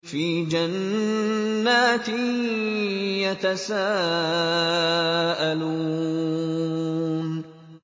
فِي جَنَّاتٍ يَتَسَاءَلُونَ